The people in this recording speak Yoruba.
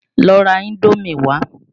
Lọ ra Indómì wá!